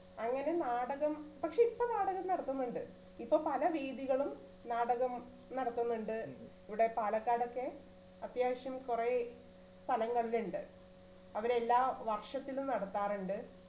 അങ്ങനെ നാടകം പക്ഷേ ഇപ്പോ നാടകം നടത്തുന്നുണ്ട് ഇപ്പോ പല വേദികളും നാടകം നടത്തുന്നുണ്ട് ഇവിടെ പാലക്കാട് ഒക്കെ അത്യാവശ്യം കുറേ കലകൾ അവിടെ എല്ലാ വർഷത്തിലും നടത്താറണ്ട്